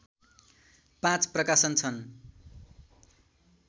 पाँच प्रकाशन छन्